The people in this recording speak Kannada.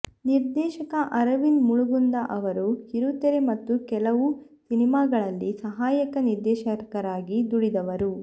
ನಿರ್ದೇಶಕ ಅರವಿಂದ ಮುಳಗುಂದ ಅವರು ಕಿರುತೆರೆ ಮತ್ತು ಕೆಲವು ಸಿನಿಮಾಗಳಲ್ಲಿ ಸಹಾಯಕ ನಿರ್ದೇಶಕರಾಗಿ ದುಡಿದವರು